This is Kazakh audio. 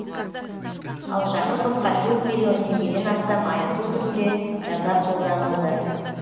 ал жақыповқа төрт миллион теңгеден астам айыппұл түрінде жаза қолданылды